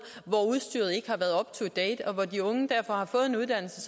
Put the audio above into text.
hvor udstyret ikke har været up to date og hvor de unge derfor har fået en uddannelse